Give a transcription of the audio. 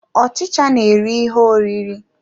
Ọchicha na-eri ihe oriri.